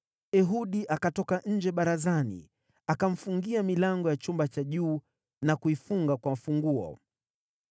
Ehudi akatoka nje barazani; akamfungia milango ya chumba cha juu na kuifunga kwa funguo.